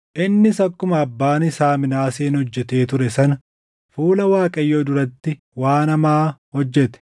Innis akkuma abbaan isaa Minaaseen hojjetee ture sana fuula Waaqayyoo duratti waan hamaa hojjete.